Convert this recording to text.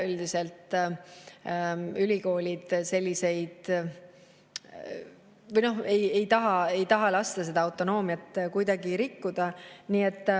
Üldiselt ülikoolid ei taha lasta seda autonoomiat rikkuda.